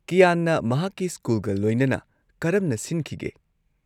ꯀ꯭ꯌꯥꯟꯅ ꯃꯍꯥꯛꯀꯤ ꯁ꯭ꯀꯨꯜꯒ ꯂꯣꯏꯅꯅ ꯀꯔꯝꯅ ꯁꯤꯟꯈꯤꯒꯦ?